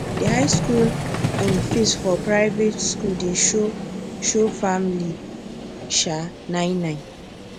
d high school um fees for private school dey show show family um nine nine